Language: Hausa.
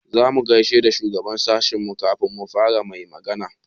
Za mu gaishe da shugaban sashinmu kafin mu fara mai magana.